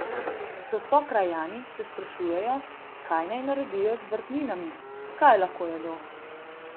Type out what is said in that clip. S sokrajani se sprašujejo, kaj naj naredijo z vrtninami, kaj lahko jedo?